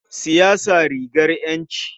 Siyasa rigar ƴanci.